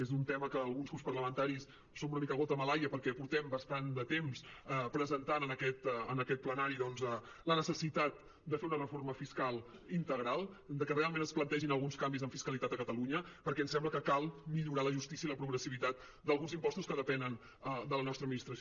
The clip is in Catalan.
és un tema en què alguns grups parlamenta·ris som una mica gota malaia perquè portem bastant de temps presentant en aquest plenari la necessitat de fer una reforma fiscal integral que realment es plantegin al·guns canvis en fiscalitat a catalunya perquè ens sembla que cal millorar la justícia i la progressivitat d’alguns impostos que depenen de la nostra administració